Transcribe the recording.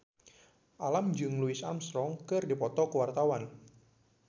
Alam jeung Louis Armstrong keur dipoto ku wartawan